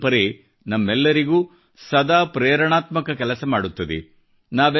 ಈ ಪರಂಪರೆ ನಮಗೆಲ್ಲರಿಗೂ ಸದಾ ಪ್ರೇರಣಾತ್ಮಕ ಕೆಲಸ ಮಾಡುತ್ತದೆ